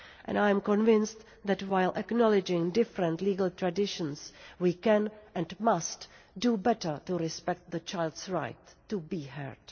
I am convinced that while acknowledging different legal traditions we can and must do better to respect the child's right to be heard.